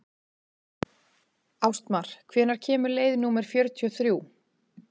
Ástmar, hvenær kemur leið númer fjörutíu og þrjú?